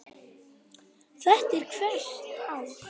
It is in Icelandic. Þetta er hvert ár?